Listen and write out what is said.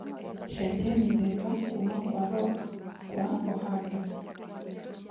cenjĩa mithemba kũma kwa rock kwa ohangia